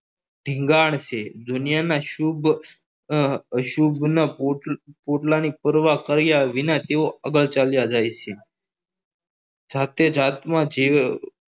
ધીંગાણ છે દુનિયાના શુભ શુભની પોટલા ની પરવા કર્યા વિના તેઓ આગળ ચાલ્યા જાય છે જાતે જાતમાં જીવ